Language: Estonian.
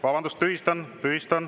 Vabandust!